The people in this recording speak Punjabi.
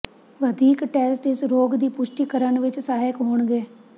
ਵਧੀਕ ਟੈਸਟ ਇਸ ਰੋਗ ਦੀ ਪੁਸ਼ਟੀ ਕਰਨ ਵਿੱਚ ਸਹਾਇਕ ਹੋਣਗੇ